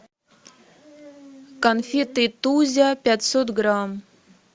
конфеты тузя пятьсот грамм